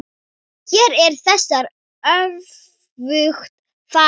Hér er þessu öfugt farið.